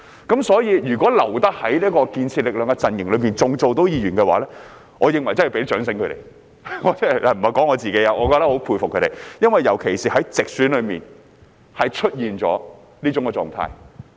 因此，那些還能夠留在建設力量陣營擔任議員的，我認為真的要給他們掌聲——我不是說我自己——我很佩服他們，尤其是在直選中出現了這種狀態。